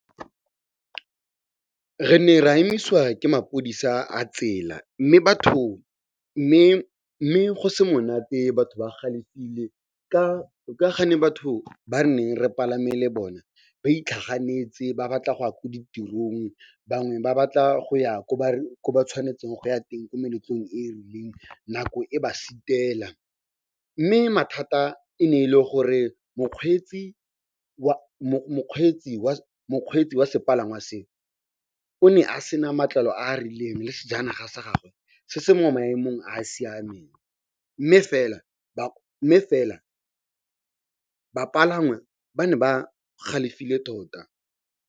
Re ne ra emisiwa ke maphodisa a tsela, mme go se monate batho ba galefile ka ga ne batho ba neng re palame le bona ba itlhaganetse ba batla go ya ko ditirong, bangwe ba batla go ya ko ba ba tshwanetseng go ya teng ko meletlong e e rileng nako e ba sitela. Mme mathata e ne e le gore mokgweetsi wa sepalangwa seo o ne a sena matlalo a a rileng le sejanaga sa gagwe se se mo maemong a a siameng. Mme fela bapalangwa ba ne ba galefile tota.